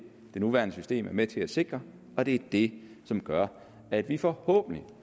det nuværende system er med til at sikre og det er det som gør at vi forhåbentlig